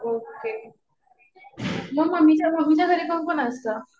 Okay. मग मम्मीच्या घरी कोण कोण असतं?